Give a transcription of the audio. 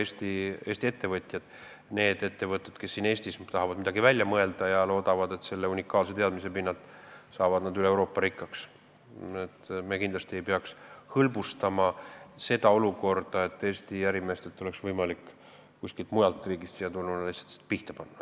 Kui on ettevõtteid, kes tahavad Eestis midagi välja mõelda ja loodavad, et selle unikaalse teadmise pinnalt saavad nad üle Euroopa tegutsedes rikkaks, siis me kindlasti ei peaks hõlbustama seda, et kuskilt mujalt riigist oleks võimalik siia tulla ja Eesti ärimeestelt see lihtsalt pihta panna.